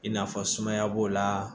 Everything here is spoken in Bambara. I n'a fɔ sumaya b'o la